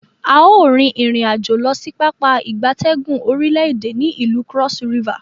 A o rin irin-ajo losi Pápá ìgbatẹ́gùn orile ede ni ilu Cross River.